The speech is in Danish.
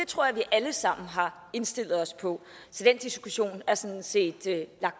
tror jeg vi alle sammen har indstillet os på så den diskussion er sådan set taget